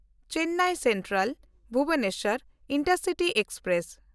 Chennai ᱥᱮᱱᱴᱨᱟᱞ–ᱵᱷᱩᱵᱚᱱᱮᱥᱥᱚᱨ intercity express